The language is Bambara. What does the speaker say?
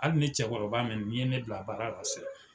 Hali ni cɛkɔrɔba ni ye ne bila baara la san.